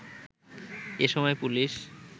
এসময় পুলিশ